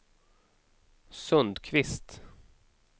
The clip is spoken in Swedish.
Sundkvist